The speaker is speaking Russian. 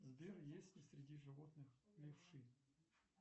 сбер есть ли среди животных левши